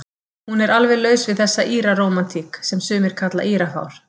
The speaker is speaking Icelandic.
Hún er alveg laus við þessa Íra-rómantík, sem sumir kalla Írafár.